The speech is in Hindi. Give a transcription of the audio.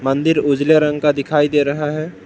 मंदिर उजले रंग का दिखाई दे रहा है।